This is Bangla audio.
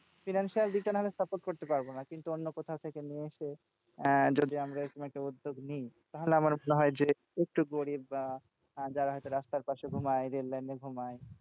financial দিক টা না হ লে support করতে পারবো না কিন্তু অন্য কোথাও থেকে নিয়ে এসে আহ যদি আমরা এরকম একটা উদ্যোগ নিই তাহলে আমার মনে হয় যে উচ্চ গরীব বা যারা হয়তো রাস্তার পাশে ঘুমায় rail line এ ঘুমায়,